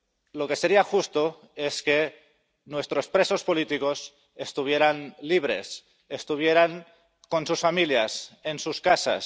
Lo que sería justo es que nuestros presos políticos estuvieran libres, estuvieran con sus familias, en sus casas.